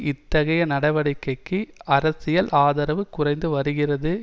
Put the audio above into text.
இத்தகைய நடவடிக்கைக்கு அரசியல் ஆதரவு குறைந்து வருகிறது